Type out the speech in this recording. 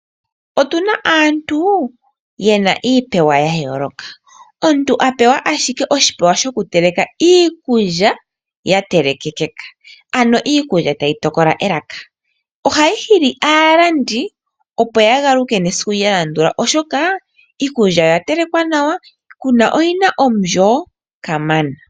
Otuna aantu yapewa iipewa yayooloka pena aantu yapewa oshipewa shoku teleka iikulya yatelekekeka, ano iikulya tayi tokola elaka, ohayi hili aalandi opo yagaluke nesiku lyalandula oshoka iikulya oya telekwa nawa yo oyina omulyo kamana.